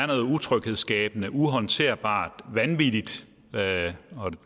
noget utryghedsskabende uhåndterbart vanvittigt